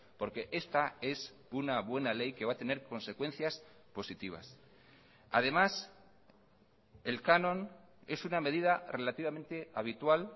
porque esta es una buena ley que va a tener consecuencias positivas además el canon es una medida relativamente habitual